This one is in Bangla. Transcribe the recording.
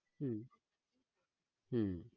হম হম